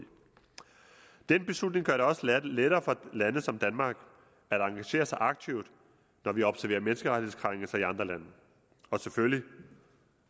den beslutning gør det også lettere for lande som danmark at engagere sig aktivt når vi observerer menneskerettighedskrænkelser i andre lande og selvfølgelig